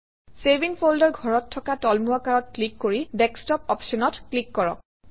save in folder ঘৰত থকা তলমুৱা কাঁড়ত ক্লিক কৰি ডেস্কটপ অপশ্যনত ক্লিক কৰক